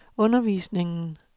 undervisningen